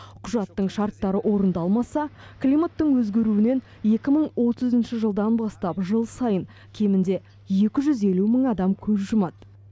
құжаттың шарттары орындалмаса климаттың өзгеруінен екі мың отызыншы жылдан бастап жыл сайын кемінде екі жүз елу мың адам көз жұмады